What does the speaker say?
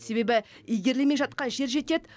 себебі игерілмей жатқан жер жетеді